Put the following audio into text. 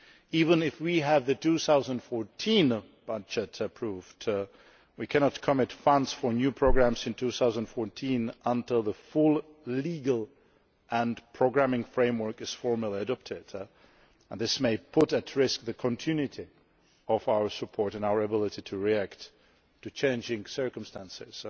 Even if we do have the 2014 budget approved, we cannot commit funds for new programmes in 2014 until the full legal and programming framework is formally adopted, and this may put at risk the continuity of our support and our ability to react to changing circumstances.